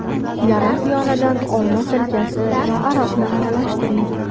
Yarim piyoladan olma sirkasi va aroqni aralashtiring.